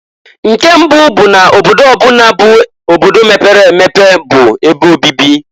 Nke mbụụ bụ n' obodo ọ bụna bụ obodo mepere emepe bụ ebe obibi.